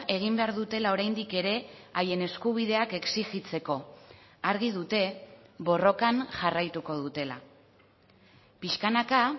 egin behar dutela oraindik ere haien eskubideak exijitzeko argi dute borrokan jarraituko dutela pixkanaka